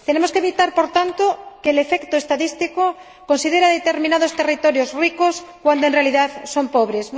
Tenemos que evitar, por tanto, que el efecto estadístico considere determinados territorios ricos cuando, en realidad, son pobres.